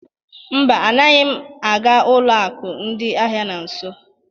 Mba, anaghị m aga ụlọ akụ ndị ahịa na nso.